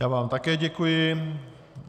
Já vám také děkuji.